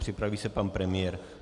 Připraví se pan premiér.